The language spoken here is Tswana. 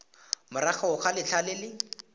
morago ga letlha le le